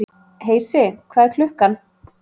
Heisi, hvað er klukkan?